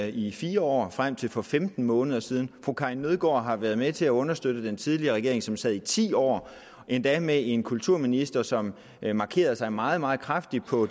i fire år frem til for femten måneder siden fru karin nødgaard har været med til at understøtte den tidligere regering som sad i ti år endda med en kulturminister som markerede sig meget meget kraftigt på